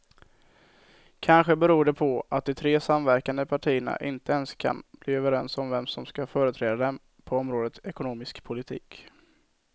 Kanske beror det på att de tre samverkande partierna inte ens kan bli överens om vem som ska företräda dem på området ekonomisk politik.